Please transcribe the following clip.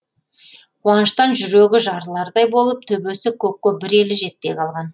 қуаныштан жүрегі жарылардай болып төбесі көкке бір елі жетпей қалған